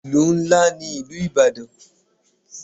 Ìlú ńlá ní ìlú ìbàdàn.